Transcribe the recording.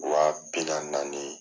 Wa bi naani naani.